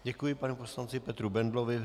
Děkuji panu poslanci Petru Bendlovi.